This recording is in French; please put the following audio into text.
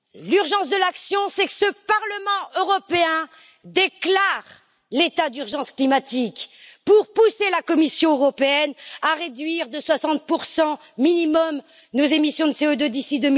L'urgence de l'action, c'est que ce Parlement européen déclare l'état d'urgence climatique pour pousser la Commission européenne à réduire de 60 minimum nos émissions de CO2, d'ici